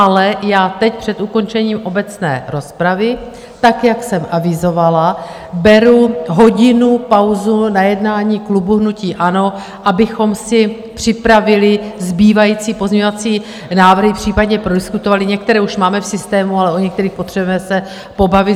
Ale já teď před ukončením obecné rozpravy tak, jak jsem avizovala, beru hodinu pauzu na jednání klubu hnutí ANO, abychom si připravili zbývající pozměňovací návrhy, případně prodiskutovali - některé už máme v systému, ale o některých potřebujeme se pobavit.